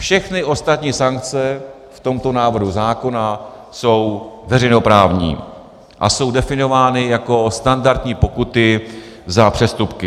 Všechny ostatní sankce v tomto návrhu zákona jsou veřejnoprávní a jsou definovány jako standardní pokuty za přestupky.